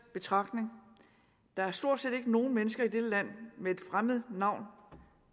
betragtning der er stort set ikke nogen mennesker i dette land med et fremmed navn